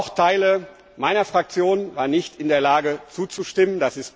Auch Teile meiner Fraktion waren nicht in der Lage zuzustimmen.